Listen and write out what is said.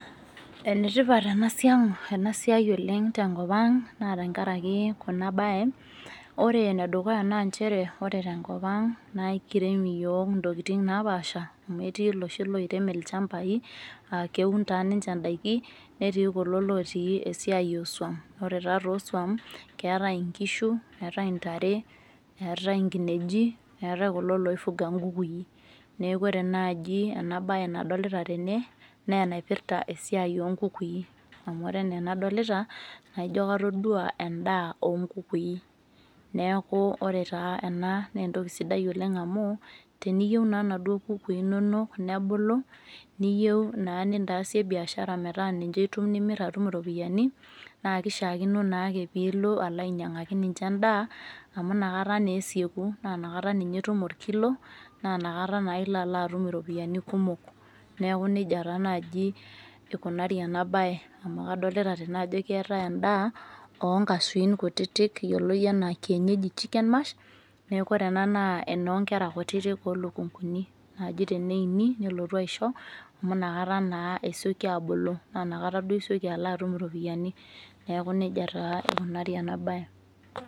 ene tipat ena siai ena siai oleng tenkop ang naa tenakaraki ena bae, ore ene dukuya naa nchere ore tenkop ang',naa ekirem iyiook intokitin naapasha. amu etii iloshon loirem, ilchampai, aa keun taa ninche daiki, netii, kulo lotii esiai oosuam. ore taa to suam, eetae nkishu eetae ntare, eetae nkineji. eetae kulo loi fuga nkukui. eeku ore naaji, ena bae nadoloita tene naa enaipirta esiai oo nkukui, amu ore enaa enadolita naa ijo katodua anaa edaa oonkukui. neku ore taa ena naa entokii sidai, oleng amu teniyieu naa inaduo kukui, inonok nebulu, niyieu naa nintaasie biashara, metaa ninche itum nimir atum iropiyiani, naa kishaakino naake pee ilo alo ainyiang'aki ninche edaa. amu inakata naa esieku, naa inakata ninye etum orkilo, naa inakata naa ilo atum iropiyiani kumok. neeku nejia taa naaji ikunari ena bae, amu kadoolta tene ajo keetae edaa oo nkashuin kutitik, eyioloi anaa kienyeji chicken mash neeku ore ena naa enoo nkera kutitik oolukunkuni naaji teneini, nilotu aisho, amu ina kata naa esioki aabulu, naa inakata isioki atum iropiyiani. neeku nejia taa ikunari ena bae.